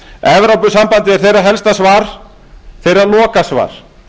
evrópusambandið er þeirra helsta svar þeirra lokasvar